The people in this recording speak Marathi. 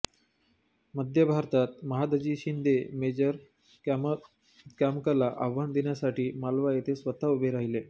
मध्य भारतात महादजी शिन्दे मेजर कॅमकला आव्हान देण्यासाठी मालवा येथे स्वतः उभे राहीले